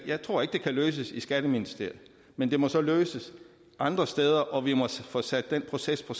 jeg tror ikke det kan løses i skatteministeriet men det må så løses andre steder og vi må få sat processen